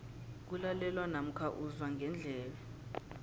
kulalelwa namkha uzwa ngendlebe